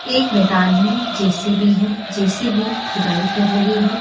एक मैदान में जे_सी_बी है जे_सी_बी खुदाई कर रही है।